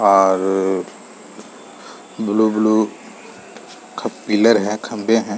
और रर blue blue खप पिलर है खम्बे हैं ।